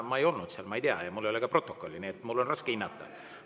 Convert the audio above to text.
Ma ei olnud seal, ma ei tea, mul ei ole ka protokolli, nii et mul on raske seda hinnata.